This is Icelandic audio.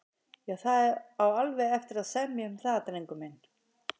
Já, það á alveg eftir að semja um það, drengur minn.